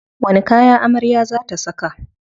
Wani kaya amarya za ta saka?